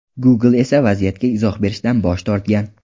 Google esa vaziyatga izoh berishdan bosh tortgan.